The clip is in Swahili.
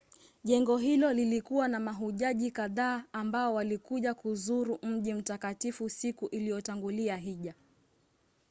jengo hilo lilikuwa na mahujaji kadhaa ambao walikuja kuzuru mji mtakatifu siku iliyotangulia hija